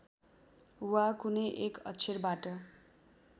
वा कुनै एक अक्षरबाट